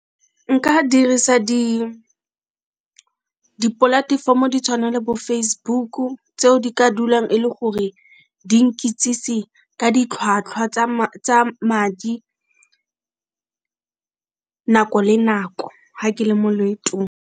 Nka dirisa dipolatefomo ditshwana le bo Facebook tseo di ka dulang e le gore di nkitsise ka ditlhwatlhwa tsa madi nako le nako ga ke le mo loetong.